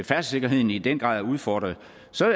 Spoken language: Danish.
færdselssikkerheden i den grad er udfordret